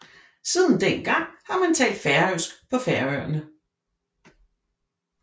Siden dengang har man talt færøsk på Færøerne